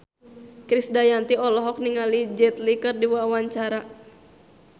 Krisdayanti olohok ningali Jet Li keur diwawancara